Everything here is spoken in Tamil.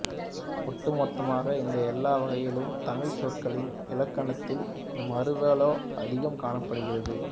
ஒட்டுமொத்தமாக இந்த எல்லா வகைகளிலும் தமிழ்ச் சொற்களின் இலக்கணத்தின் மருவலே அதிகம் காணப்படுகிறது